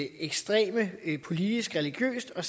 ekstreme politisk religiøst og